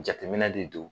Jateminɛ de don